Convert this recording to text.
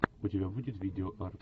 у тебя будет видео арт